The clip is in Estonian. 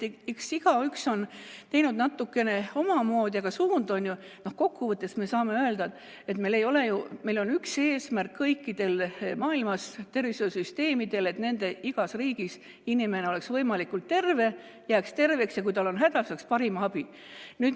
Eks igaüks ole teinud natukene omamoodi, aga kokku võttes me saame öelda, et on üks eesmärk kõikidel maailma tervishoiusüsteemidel, et igas riigis inimene oleks võimalikult terve, jääks terveks ja kui tal on häda, siis ta saaks parimat abi.